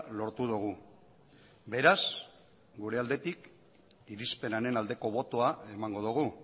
lortu dugu beraz gure aldetik irizpenaren aldeko botoa emango dugu